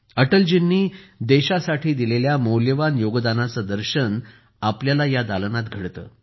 अटलजींनी देशासाठी दिलेल्या मौल्यवान योगदानाचे दर्शन आपल्याला त्या दालनात घडते